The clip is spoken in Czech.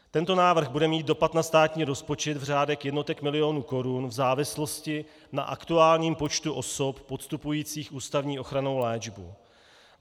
Tento návrh bude mít dopad na státní rozpočet v řádech jednotek milionů korun v závislosti na aktuálním počtu osob podstupujících ústavní ochrannou léčbu.